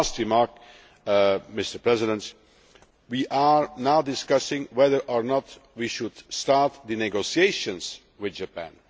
My last remark, Mr President we are now discussing whether or not we should start the negotiations with Japan